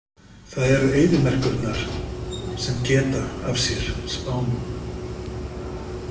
Það eru eyðimerkurnar sem geta af sér spámenn.